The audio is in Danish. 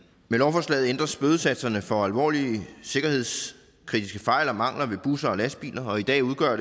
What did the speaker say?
med lovforslaget ændres bødesatserne for alvorlige sikkerhedskritiske fejl og mangler ved busser og lastbiler og i dag udgør